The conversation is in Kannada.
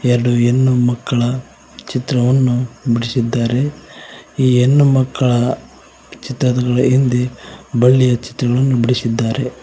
ಎರಡು ಹೆಣ್ಣುಮಕ್ಕಳ ಚಿತ್ರವನ್ನು ಬಿಡಿಸಿದ್ದಾರೆ ಈ ಹೆಣ್ಣುಮಕ್ಕಳ ಚಿತ್ರದ ಹಿಂದೆ ಬಳ್ಳಿಯ ಚಿತ್ರವನ್ನು ಬಿಡಿಸಿದ್ದಾರೆ.